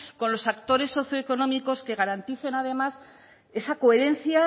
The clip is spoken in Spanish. con los actores socioeconómicos que garanticen además esa coherencia